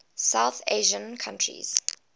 south asian countries